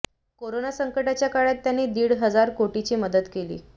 corona संकटाच्या काळात त्यांनी दीड हजार कोटीची मदत केली